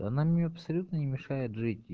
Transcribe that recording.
она мне абсолютно не мешает жить и